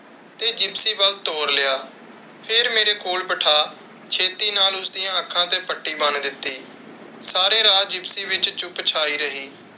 ਤੇ ਜਿਪਸੀ ਵੱਲ ਤੋਰ ਲਿਆ, ਫਿਰ ਮੇਰੇ ਕੋਲ ਬਿਠਾ ਛੇਤੀ ਨਾਲ ਉਸ ਦੀ ਅੱਖਾਂ ਤੇ ਪੱਟੀ ਬੰਨ ਦਿੱਤੀ। ਸਾਰੇ ਰਾਹ ਜਿਪਸੀ ਵਿੱਚ ਚੁੱਪ ਛਾਈ ਰਹੀ।